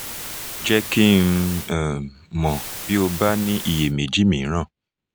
jẹ́ kí n um mọ̀ bí o bá ní iyèméjì mìíràn